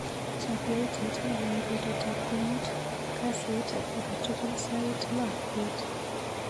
Chap yautyet ne leel betutap komut kasit akatukul sait loo bet.